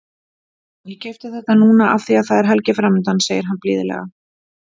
Ég keypti þetta núna af því að það er helgi framundan, segir hann blíðlega.